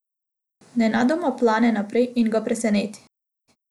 Nenadoma plane naprej in ga preseneti.